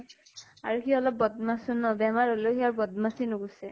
আৰু সি অলপ বদমাছো ন, বেমাৰ হʼলেও সি আৰু বদ্মাছি নোগুছে ।